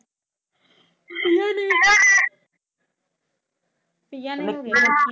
ਪਿਯਾ ਨੇ